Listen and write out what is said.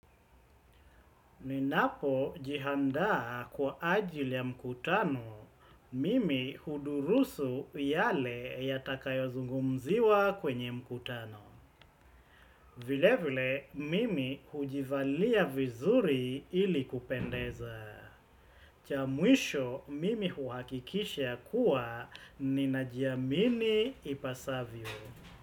Ninapojiandaa kwa ajili ya mkutano, mimi hudurusu yale yatakayozungumziwa kwenye mkutano. Vile vile, mimi hujivalia vizuri ili kupendeza. Cha mwisho mimi huhakikisha kuwa ninajiamini ipasavyo.